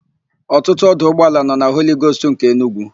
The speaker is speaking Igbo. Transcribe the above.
Ọtụtụ ọdụ ụgbọala nọ na Holigost nke Enugwu.